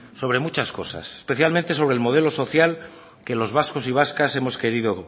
sobre muchas cosas especialmente sobre el modelo social que los vascos y vascas hemos querido